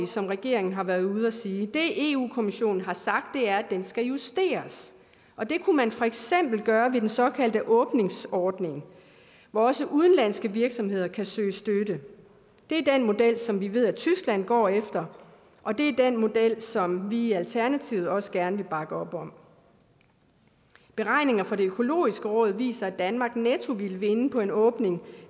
som regeringen har været ude at sige det europa kommissionen har sagt er at den skal justeres og det kunne man for eksempel gøre ved den såkaldte åbningsordning hvor også udenlandske virksomheder kan søge støtte det er den model som vi ved at tyskland går efter og det er den model som vi i alternativet også gerne vil bakke op om beregninger fra det økologiske råd viser at danmark netto ville vinde på en åbning